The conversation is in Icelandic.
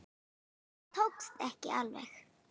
Það tókst ekki alveg.